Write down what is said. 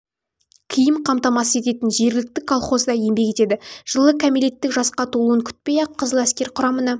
киім қамтамасыз ететін жергілікті колхозда еңбек етеді жылы кәмелеттік жасқа толуын күтпей-ақ қызыл әскер құрамына